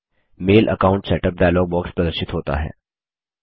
mail account setup dialog box प्रदर्शित होता है